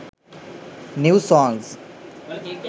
new songs